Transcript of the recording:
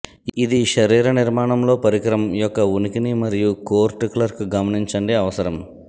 ఇది శరీర నిర్మాణం లో పరికరం యొక్క ఉనికిని మరియు కోర్ట్ క్లర్క్ గమనించండి అవసరం